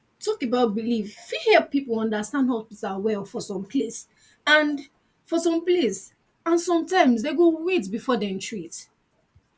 talk about belief fit help people understand hospital well for some place and some place and sometimes dem go wait before dem treat